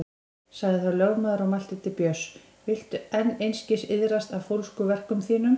Sagði þá lögmaður og mælti til Björns: Viltu enn einskis iðrast af fólskuverkum þínum?